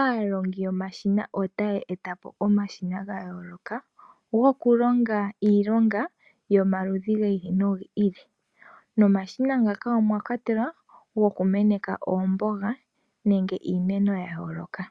aandulukipo yomashina otaya etapo omashina ga yooloka gokulonga iilonga yomaludhi giili no giili, nomashina ngaka omwakwatelwa omashina gokumeneka oomboga nenge iimeno ya yooloka.